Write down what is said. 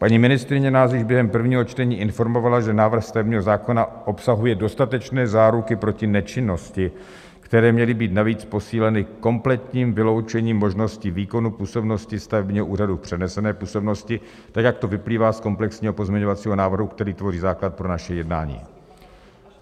Paní ministryně nás již během prvního čtení informovala, že návrh stavebního zákona obsahuje dostatečné záruky proti nečinnosti, které měly být navíc posíleny kompletním vyloučením možnosti výkonu působnosti stavebního úřadu v přenesené působnosti tak, jak to vyplývá z komplexního pozměňovacího návrhu, který tvoří základ pro naše jednání.